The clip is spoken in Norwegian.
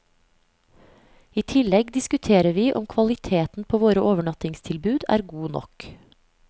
I tillegg diskuterer vi om kvaliteten på våre overnattingstilbud er god nok.